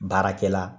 Baarakɛla